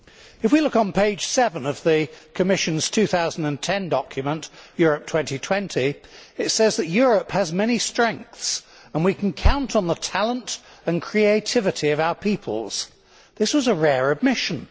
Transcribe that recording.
If we look on page 7 of the Commission's 2010 document, Europe 2020, it says that Europe has many strengths and we can count on the talent and creativity of our peoples. This was a rare admission.